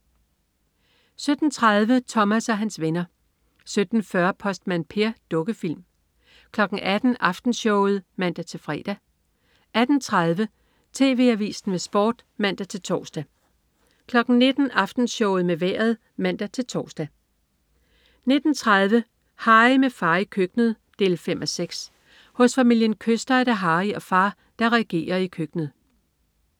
17.30 Thomas og hans venner 17.40 Postmand Per. Dukkefilm 18.00 Aftenshowet (man-fre) 18.30 TV Avisen med Sport (man-tors) 19.00 Aftenshowet med Vejret (man-tors) 19.30 Harry, med far i køkkenet 5:6. Hos familien Kyster er det Harry og far, der regerer i køkkenet